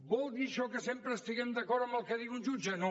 vol dir això que sempre estem d’acord amb el que digui un jutge no